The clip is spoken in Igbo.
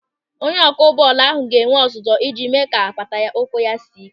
Onye ọkụ bọọlụ ahụ ga-enwe ọzụzụ iji mee ka apata ụkwụ ya sie ị́ké.